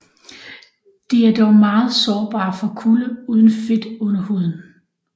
De er dog meget sårbare for kulde uden fedt under huden